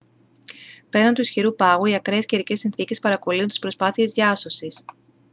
πέραν του ισχυρού πάγου οι ακραίες καιρικές συνθήκες παρακωλύουν τις προσπάθειες διάσωσης